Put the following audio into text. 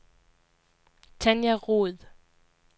Tanja Roed